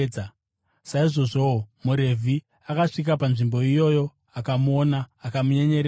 Saizvozvowo, muRevhi akasvika panzvimbo iyoyo akamuona, akamunyenyeredzawo.